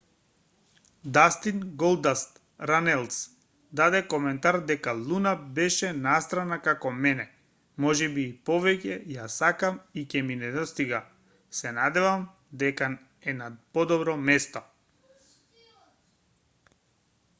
дастин голдаст ранелс даде коментар дека луна беше настрана како мене ... можеби и повеќе ... ја сакам и ќе ми недостига ... се надевам дека е на подобро место